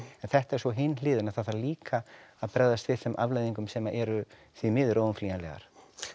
en þetta er svo hin hliðin það þarf líka að bregðast við þeim afleiðingum sem eru því miður óumflýjanlegar